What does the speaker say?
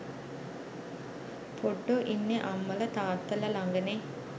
පොඩ්ඩො ඉන්නෙ අම්මල තාත්තල ලඟනේ.